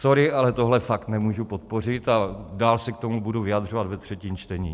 Sorry, ale tohle fakt nemůžu podpořit a dál se k tomu budu vyjadřovat ve třetím čtení.